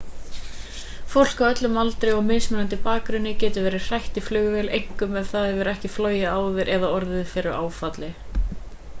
fólk af öllum aldri og mismunandi bakgrunni getur verið hrætt í flugvél einkum ef það hefur ekki flogið áður eða orðið fyrir áfalli